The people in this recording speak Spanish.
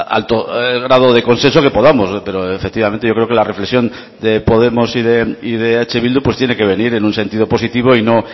alto grado de consenso que podamos pero efectivamente yo creo que la reflexión de podemos y de eh bildu tiene que venir en un sentido positivo y no